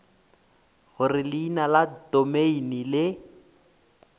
gore leina la domeine le